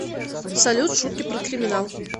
салют шутки про криминал